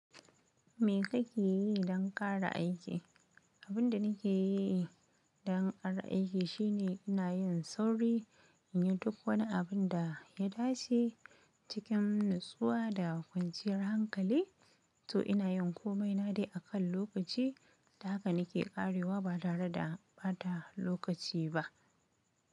Me kake yi don ƙara aiki? Abin da nake yi don ƙara aiki shine ina yin sauri, in yi duk wani abin da ya dace cikin natsuwa da kwanciyar hankali. To ina yin komai na dai akan lokaci, haka nake ƙarewa ba tare da ɓata lokaci ba.